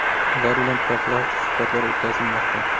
Ular bilan profilaktik suhbatlar o‘tkazilmoqda.